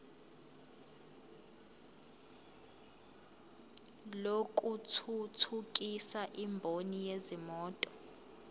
lokuthuthukisa imboni yezimoto